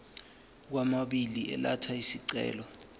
kwababili elatha isicelo